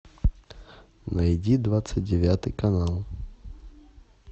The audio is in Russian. найди двадцать девятый канал